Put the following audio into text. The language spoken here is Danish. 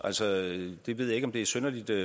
er stadigvæk synes jeg besynderligt at